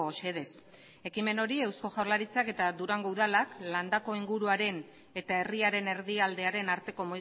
xedez ekimen hori eusko jaurlaritzak eta durango udalak landako inguruaren eta herriaren erdialdearen arteko